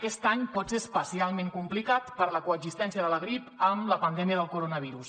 aquest any pot ser especialment complicat per la coexistència de la grip amb la pandèmia del coronavirus